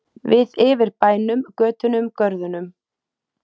Við yfir bænum, götunum, görðunum.